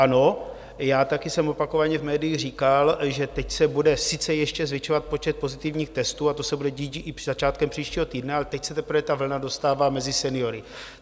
Ano, já také jsem opakovaně v médiích říkal, že teď se bude sice ještě zvětšovat počet pozitivních testů, a to se bude dít i začátkem příštího týdne, ale teď se teprve ta vlna dostává mezi seniory.